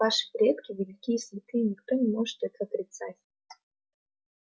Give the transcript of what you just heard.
ваши предки велики и святы и никто не может это отрицать